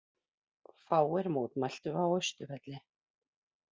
Fáir mótmæltu á Austurvelli